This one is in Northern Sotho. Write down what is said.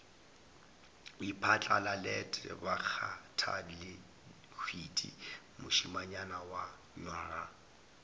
iphatlalalet bakgathalehwiti mošemanyana wa nywaga